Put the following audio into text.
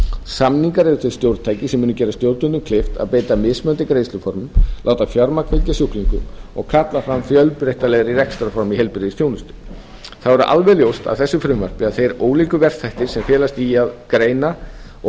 samningar eru þau stjórntæki sem munu gera stjórnvöldum kleift að beita mismunandi greiðsluformum láta fjármagn fylgja sjúklingum og kalla fram fjölbreytilegri rekstrarform í heilbrigðisþjónustu þá er alveg ljóst af þessu frumvarpi að þeir ólíku verkþættir sem felast í því að greina og